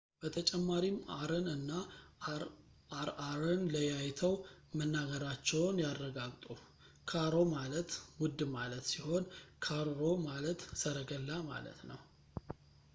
በተጨማሪም አርን እና አርአርን ለያይተው መናገራቸውን ያረጋግጡ ካሮ ማለት ውድ ማለት ሲሆን ካርሮ ማለት ሰረገላ ማለት ነው